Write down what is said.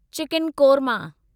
chicken korma